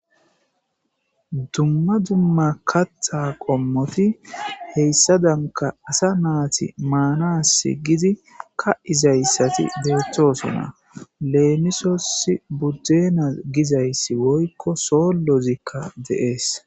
Dumma dumma katta qommoti heyssa danka asa naati maanasi gidi ka7izayssati deeththosona leemisosi buddena gizayssi woykko soollozikka deees